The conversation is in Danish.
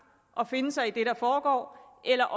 og finde sig i det der foregår eller